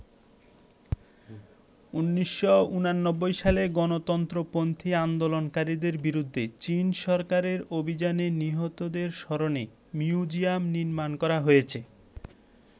১৯৮৯ সালে গণতন্ত্রপন্থী আন্দোলনকারীদের বিরুদ্ধে চীন সরকারের অভিযানে নিহতদের স্মরণে মিউজিয়াম নির্মাণ করা হয়েছে।